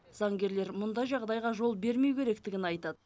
заңгерлер мұндай жағдайға жол бермеу керектігін айтады